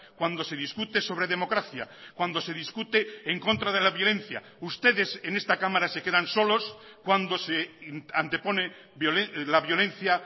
cuando se discute sobre democracia cuando se discute en contra de la violencia ustedes en esta cámara se quedan solos cuando se antepone la violencia